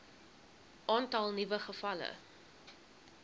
aantal nuwe gevalle